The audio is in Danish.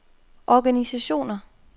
organisationer